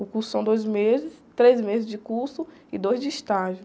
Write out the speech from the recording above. O curso são dois meses, três meses de curso e dois de estágio.